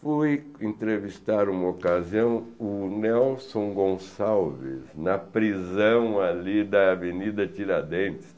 Fui entrevistar uma ocasião o Nelson Gonçalves na prisão ali da Avenida Tiradentes.